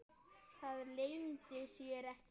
Það leyndi sér ekki.